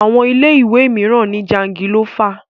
Àwọn ilé ìwé mìíràn ni jangilófà.